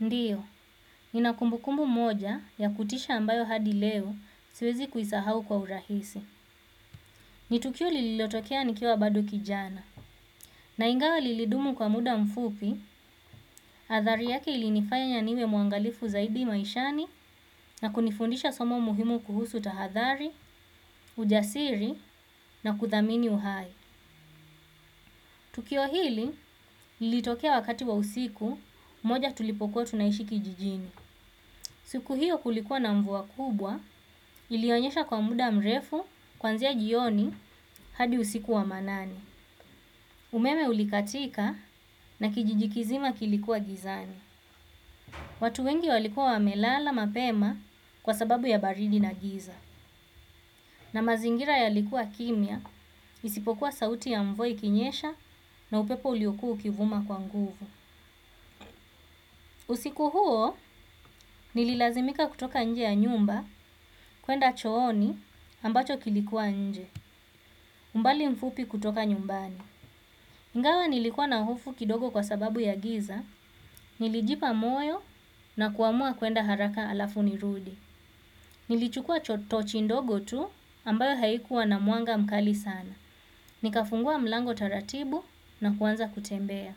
Ndio, nina kumbukumbu moja ya kutisha ambayo hadi leo siwezi kuisahau kwa urahisi. Ni tukio liliotokea nikiwa bado kijana. Na ingawa lilidumu kwa muda mfupi, athari yake ilinifanya niwe mwangalifu zaidi maishani na kunifundisha somo muhimu kuhusu tahadhari, ujasiri na kuthamini uhai. Tukio hili, lilitokea wakati wa usiku, moja tulipokuwa tunaishi kijijini. Siku hiyo kulikuwa na mvua kubwa ilionyesha kwa muda mrefu kuanzia jioni hadi usiku wa manane. Umeme ulikatika na kijijikizima kilikuwa gizani. Watu wengi walikuwa wamelala mapema kwa sababu ya baridi na giza. Na mazingira yalikuwa kimya isipokuwa sauti ya mvua ikinyesha na upepo uliokuwa ukivuma kwa nguvu. Usiku huo nililazimika kutoka nje ya nyumba kuenda chooni ambacho kilikuwa nje. Umbali mfupi kutoka nyumbani. iNgawa nilikuwa na hofu kidogo kwa sababu ya giza. Nilijipa moyo na kuamua kuenda haraka alafu nirudi. Nilichukua tochi ndogo tu ambayo haikuwa na mwanga mkali sana. Nikafungua mlango taratibu na kuanza kutembea.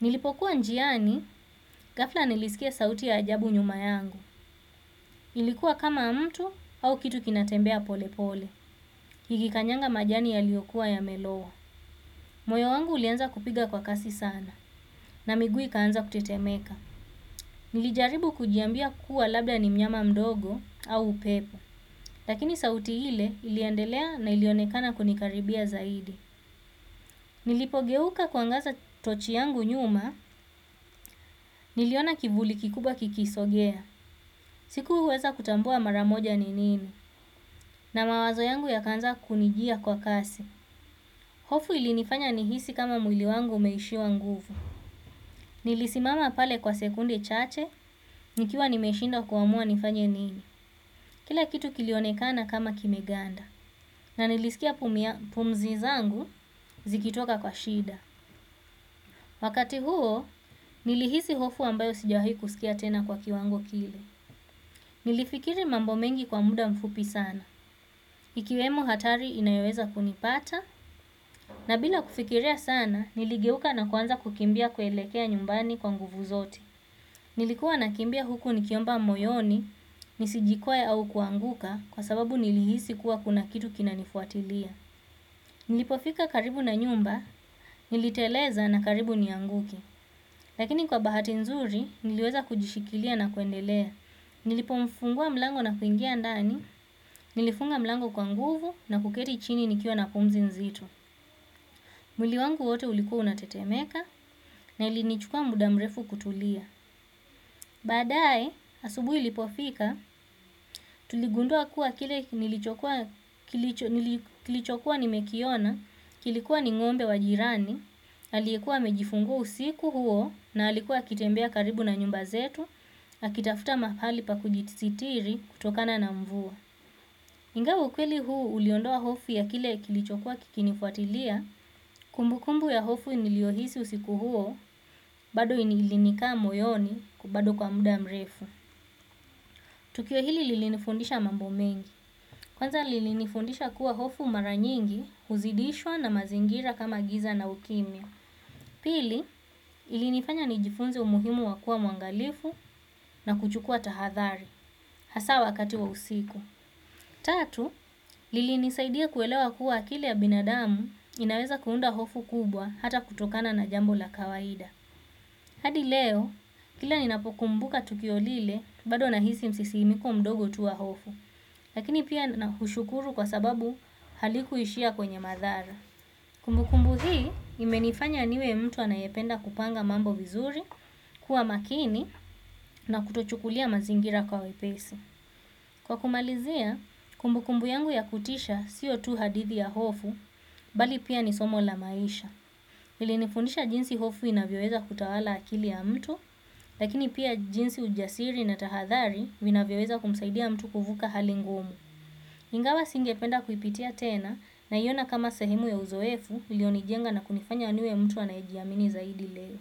Nilipokuwa njiani, ghafla nilisikia sauti ya ajabu nyuma yangu. Ilikuwa kama mtu au kitu kinatembea pole pole. Ikikanyaga majani yaliyokuwa yamelowa. Moyo wangu ulianza kupiga kwa kasi sana na miguu ikaanza kutetemeka. Nilijaribu kujiambia kuwa labda ni mnyama mdogo au upepo. Lakini sauti ile iliendelea na ilionekana kunikaribia zaidi. Nilipogeuka kuangaza tochi yangu nyuma niliona kivuli kikubwa kikisogea. Sikuweza kutambua mara moja ni nini na mawazo yangu yakaanza kunijia kwa kasi. Hofu ilinifanya nihisi kama mwili wangu umeishiwa nguvu. Nilisimama pale kwa sekunde chache, nikiwa nimeshindwa kuamua nifanye nini. Kila kitu kilionekana kama kime ganda. Na nilisikia pumzi zangu zikitoka kwa shida. Wakati huo, nilihisi hofu ambayo sijawahi kusikia tena kwa kiwango kile. Nilifikiri mambo mengi kwa muda mfupi sana ikiwemo hatari inayoweza kunipata. Na bila kufikiria sana niligeuka na kuanza kukimbia kuelekea nyumbani kwa nguvu zote. Nilikuwa nakimbia huku nikiomba moyoni nisijikwae au kuanguka. Kwa sababu nilihisi kuwa kuna kitu kinanifuatilia. Nilipofika karibu na nyumba niliteleza na karibu nianguke. Lakini kwa bahati nzuri niliweza kujishikilia na kuendelea. Nilipofungua mlango na kuingia ndani. Nilifunga mlango kwa nguvu na kuketi chini nikiwa na pumzi nzito. Mwili wangu wote ulikuwa unatetemeka na ilinichukua muda mrefu kutulia. Baadaye asubuhi ilipofika tuligundua kuwa kilichokuwa nimekiona kilikuwa ni ng'ombe wa jirani aliyekuwa amejifungua usiku huo na alikuwa akitembea karibu na nyumba zetu akitafuta mahali pa kujisitiri kutokana na mvua ingawa ukweli huu uliondoa hofu ya kile kilichokua kikinifuatilia, kumbukumbu ya hofu niliohisi usiku huo, bado ilinikaa moyoni bado kwa muda mrefu. Tukio hili lilinifundisha mambo mengi. Kwanza lilinifundisha kuwa hofu mara nyingi, huzidishwa na mazingira kama giza na ukimya. Pili, ilinifanya nijifunze umuhimu wa kuwa mwangalifu na kuchukua tahathari, hasa wakati wa usiku. Tatu, lilinisaidia kuelewa kuwa akili ya binadamu inaweza kuunda hofu kubwa hata kutokana na jambo la kawaida. Hadi leo, kila ninapokumbuka tukio lile, bado nahisi msisimko mdogo tu wa hofu, lakini pia naushukuru kwa sababu halikuishia kwenye madhara. Kumbukumbu hii imenifanya niwe mtu anayependa kupanga mambo vizuri, kuwa makini na kutochukulia mazingira kwa uwepesi. Kwa kumalizia, kumbukumbu yangu ya kutisha sio tu hadithi ya hofu, bali pia ni somo la maisha. Ilinifundisha jinsi hofu inavyoweza kutawala akili ya mtu, lakini pia jinsi ujasiri na tahadhari vinavyoweza kumsaidia mtu kuvuka hali ngumu. Ingawa singependa kuipitia tena naiona kama sahemu ya uzoefu iliyonijenga na kunifanya niwe mtu anayejiamini zaidi leo.